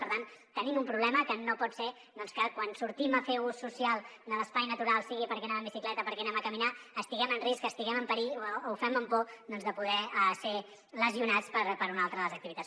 per tant tenim un problema que no pot ser que quan sortim a fer ús social de l’espai natural sigui perquè anem en bicicleta perquè anem a caminar estiguem en risc estiguem en perill o ho fem amb por de poder ser lesionats per una altra de les activitats